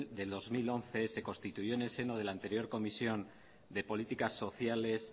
de dos mil once se constituyó en el seno de la anterior comisión de políticas sociales